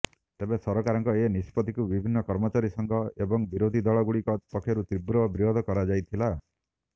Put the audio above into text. ତେବେ ସରକାରଙ୍କ ଏ ନିଷ୍ପତ୍ତିକୁ ବିଭିନ୍ନ କର୍ମଚାରୀ ସଂଘ ଏବଂ ବିରୋଧୀ ଦଳଗୁଡିକ ପକ୍ଷରୁ ତୀବ୍ର ବିରୋଧ କରାଯାଇଥିଲା